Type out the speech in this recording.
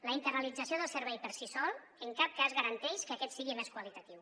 la internalització del servei per si sol en cap cas garanteix que aquest sigui més qualitatiu